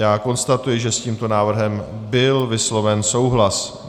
Já konstatuji, že s tímto návrhem byl vysloven souhlas.